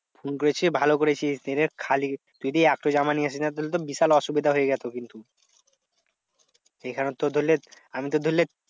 Phone করেছিস ভালো করেছিস, নাহলে খালি তুই যদি একটাই জামা নিয়ে আসিস তাহলে তো বিশাল অসুবিধা হয়ে যেত কিন্তু। এইখানে তোর ধরলে আমি তোর ধরলে